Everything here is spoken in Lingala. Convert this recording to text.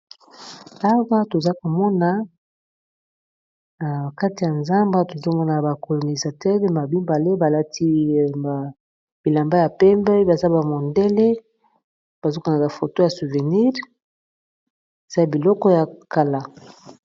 Awa tozakomona nakati yazamba tozomona bakornizateur bamibale balati bilamba ya pembe bazabamondele bazakozuwa photo yaba souvenir ezabiloko yakala